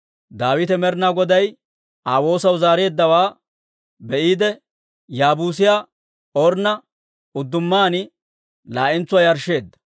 Daawite Med'inaa Goday Aa woosaw zaareeddawaa be'iide, Yaabuusiyaa Ornna uddumaan laa'entsuwaa yarshsheedda.